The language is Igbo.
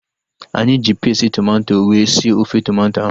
Anyị ji pesti tomato wee sie ofe tomato ahu